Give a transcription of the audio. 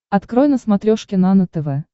открой на смотрешке нано тв